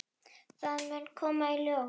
Það mun koma í ljós.